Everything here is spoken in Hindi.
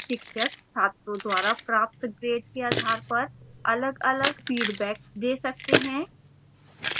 शिक्षक छात्रों द्वारा प्राप्त grade के आधार पर अलगअलग फीडबैक दे सकते हैं